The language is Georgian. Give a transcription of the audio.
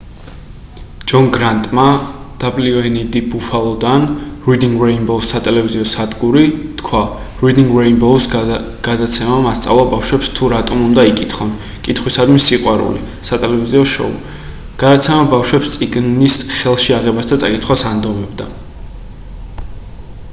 ჯონ გრანტმა wned buffalo-დან reading rainbow-ს სატელევიზიო სადგური თქვა: reading rainbow-ს გადაცემამ ასწავლა ბავშვებს თუ რატომ უნდა იკითხონ,... კითხვისადმი სიყვარული — [სატელევიზიო შოუ]. გადაცემა ბავშვებს წიგნის ხელში აღებას და წაკითხას ანდომებდა